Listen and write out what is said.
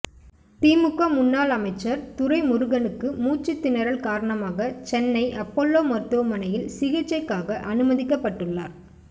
திமுக முன்னாள் அமைச்சர் துரைமுருகனுக்கு மூச்சுதிணறல் காரணமாக சென்னை அப்பல்லோ மருத்துவமனையில் சிகிச்சைக்காக அனுமதிக்கப்பட்டுள்ளார்